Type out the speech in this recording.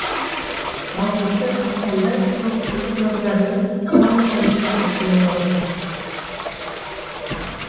алтыншы ақпанда көпшілік назарына гала концерт ұсынылмақшы